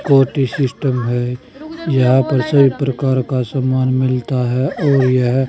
कोटी सिस्टम है। यहां पर सभी प्रकार सामान मिलता है और यह--